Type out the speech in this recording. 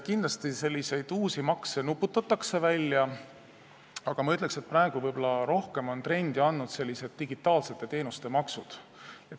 Kindlasti nuputatakse selliseid uusi makse välja, aga ma ütleksin, et praegu on võib-olla rohkem trendi tekitanud digitaalsete teenuste maksud.